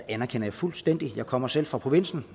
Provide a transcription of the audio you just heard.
anerkender jeg fuldstændigt jeg kommer selv fra provinsen